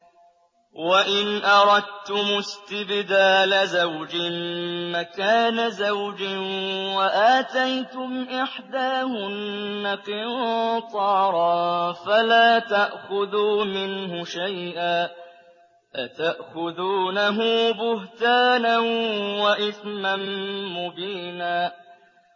وَإِنْ أَرَدتُّمُ اسْتِبْدَالَ زَوْجٍ مَّكَانَ زَوْجٍ وَآتَيْتُمْ إِحْدَاهُنَّ قِنطَارًا فَلَا تَأْخُذُوا مِنْهُ شَيْئًا ۚ أَتَأْخُذُونَهُ بُهْتَانًا وَإِثْمًا مُّبِينًا